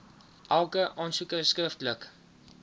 elke aansoeker skriftelik